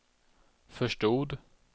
förstod